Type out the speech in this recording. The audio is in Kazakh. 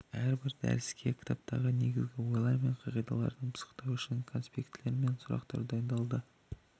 әрбір дәріске кітаптағы негізгі ойлар мен қағидараларды пысықтау үшін конспектілер мен сұрақтар дайындалды